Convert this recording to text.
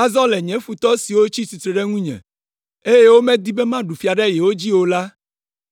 Azɔ le nye futɔ siwo tsi tsitre ɖe ŋunye, eye womedi be maɖu fia ɖe yewo dzi o la,